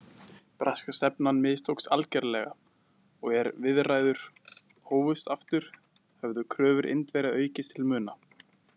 Breska stefnan mistókst algjörlega og er viðræður hófust aftur, höfðu kröfur Indverja aukist til muna.